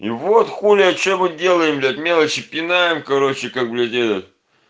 и вот хули от чего делаем блять мелочи пинаем короче как блять этот